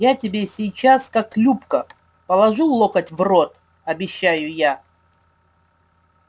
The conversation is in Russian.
я тебе сейчас как любка положу локоть в рот обещаю я